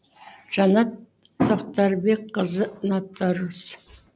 жанат тоқтарбекқызы нотариус